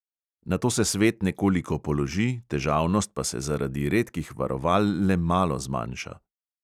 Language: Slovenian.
Nato se svet nekoliko položi, težavnost pa se zaradi redkih varoval le malo zmanjša.